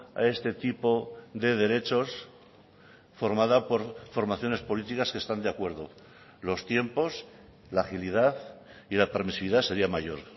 a este tipo de derechos formada por formaciones políticas que están de acuerdo los tiempos la agilidad y la permisividad sería mayor